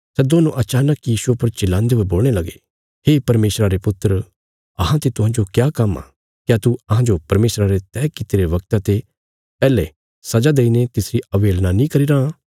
सै दोन्नो अचानक यीशुये पर चिल्लान्दे हुए बोलणे लगे हे परमेशरा रे पुत्र अहांते तुहांजो क्या काम्म आ क्या तू अहांजो परमेशरा रे तैह कित्तिरे वगता ते पैहले सजा देईने तिसरी अवहेलना नीं करीरां